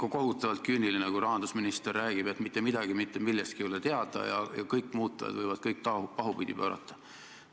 On ikka kohutavalt küüniline, kui rahandusminister räägib, et mitte midagi mitte millestki ei ole teada ja kõik muutujad võivad kõik pahupidi pöörata.